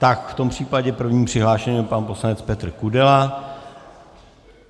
Tak v tom případě prvním přihlášeným je pan poslanec Petr Kudela.